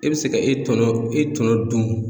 E bɛ se ka e tɔnɔ e tɔnɔ dun.